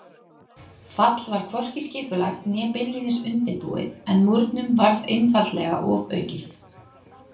Fall var hvorki skipulagt né beinlínis undirbúið en múrnum varð einfaldlega ofaukið.